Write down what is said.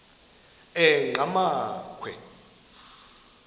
enqgamakhwe